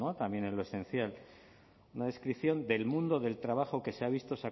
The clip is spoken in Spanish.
también en lo esencial una descripción del mundo del trabajo que se ha visto